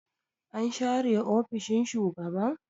an share ofishin shugaban